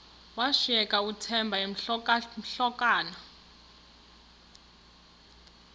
washiyeka uthemba emhokamhokana